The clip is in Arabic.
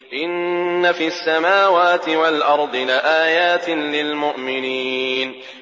إِنَّ فِي السَّمَاوَاتِ وَالْأَرْضِ لَآيَاتٍ لِّلْمُؤْمِنِينَ